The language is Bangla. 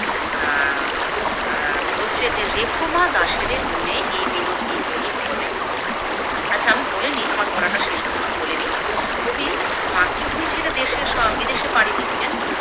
অ্যা অ্যা বলছে যে রেখো মা দাসেরে মনে এই মিনতি করি পদে। আচ্ছা আমি বলে নিই আমার বলাটা শেষ হলোনা বলে নিই কবি মাতৃভূমি ছেড়ে দেশে স বিদেশে পাড়ি দিচ্ছেন